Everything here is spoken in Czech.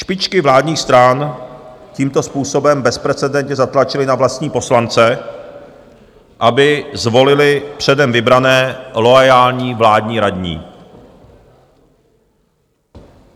Špičky vládních stran tímto způsobem bezprecedentně zatlačily na vlastní poslance, aby zvolili předem vybrané loajální vládní radní.